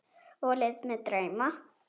Og lét mig dreyma.